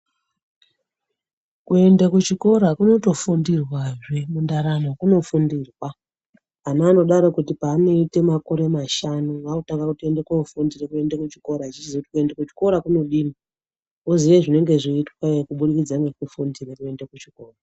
Kuende kuchikora kunotofundirwazve mundaramo kunofundirwa ana anodaro kuti pavanoite makore mashanu vaakutanga kutoende kofundira kuende kuchikora achiziye kuti kuende kuchikora kunodii? voziye zvinonga zveiitweyo kubudikidze ngekufundira kuende kuchikora.